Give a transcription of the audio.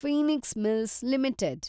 Phoenix Mills limited